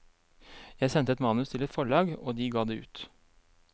Jeg sendte et manus til et forlag, og de ga det ut.